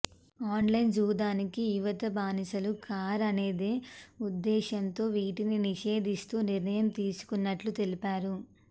online జూదానికి యువత బానిసలు కారాదనే ఉద్దేశంతో వీటిని నిషేధిస్తూ నిర్ణయం తీసుకున్నట్లు తెలిపారు